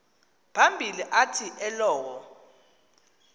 phambili athi elowo